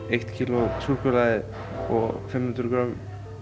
eitt kíló af súkkulaði og fimm hundruð grömm